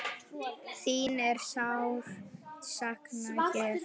Þín er sárt saknað hér.